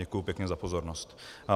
Děkuji pěkně za pozornost.